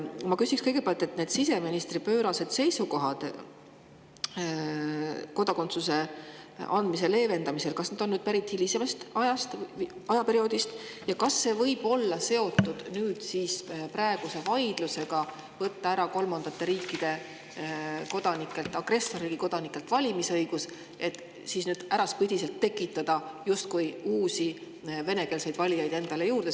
Ma küsiks kõigepealt, et kas need siseministri pöörased seisukohad kodakondsuse andmise leevendamise kohta on pärit hilisemast ajast ning kas need võivad olla seotud praeguse vaidlusega kolmandate riikide kodanikelt ja agressorriigi kodanikelt valimisõiguse äravõtmise üle, et nüüd äraspidiselt justkui endale uusi venekeelseid valijaid juurde tekitada.